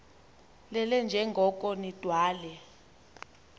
lelele njengoko nidalwe